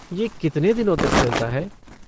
ये कितने दिनों तक चलता है?